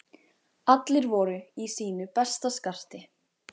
Allir voru í sínu besta skarti.